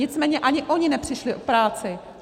Nicméně ani oni nepřišli o práci.